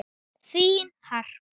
Þín Harpa.